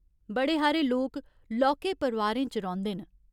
बड़े हारे लोक लौह्के परोआरें च रौंह्‌दे न।